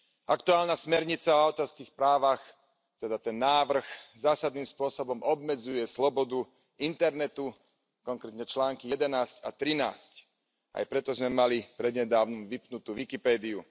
Aktuálna smernica o autorských právach, teda ten návrh, zásadným spôsobom obmedzuje slobodu internetu, konkrétne články 11 a 13. Aj preto sme mali prednedávnom vypnutú Wikipediu.